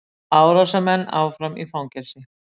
Árásarmenn áfram í fangelsi